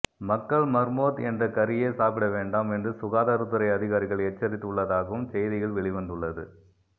மக்கள் மர்மோத் என்ற கறியை சாப்பிட வேண்டாம் என்று சுகாதாரத்துறை அதிகாரிகள் எச்சரித்து உள்ளதாகவும் செய்திகள் வெளிவந்துள்ளது